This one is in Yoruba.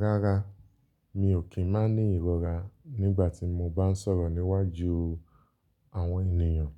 Rárá, mi ò kí ń má ní ìrora nígbà tí mo bá ń sọ̀rọ̀ níwájú àwọn ènìyàn.